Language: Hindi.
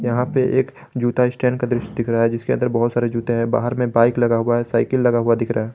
यहां पे एक जूता स्टैंड का दृश्य दिख रहा है जिसके अंदर बहोत सारे जूते हैं बाहर में बाइक लगा हुआ है साइकिल लगा हुआ दिख रहा है।